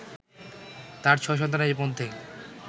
তাঁর ছয় সন্তানের মধ্যে